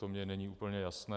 To mi není úplně jasné.